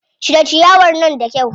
Cire ciyawar nan da kyau.